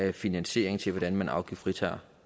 en finansiering til hvordan man afgiftsfritager